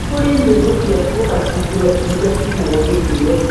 nĩ kũrĩ nyĩmbo cia gĩbatithio iria ciinagwo hĩndĩ ĩyo